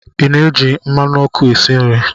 Ị na-eji mmanụ ọkụ esi nri?